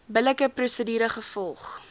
billike prosedure gevolg